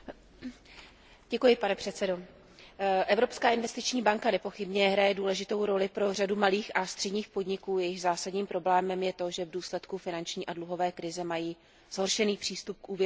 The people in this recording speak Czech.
Pane předsedající, Evropská investiční banka nepochybně hraje důležitou roli pro řadu malých a středních podniků, jejichž zásadním problémem je to, že v důsledku finanční a dluhové krize mají zhoršený přístup k úvěrovému financování.